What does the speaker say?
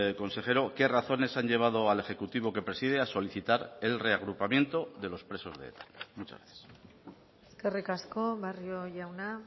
consejero qué razones han llevado al ejecutivo que preside a solicitar el reagrupamiento de los presos de eta muchas gracias eskerrik asko barrio jauna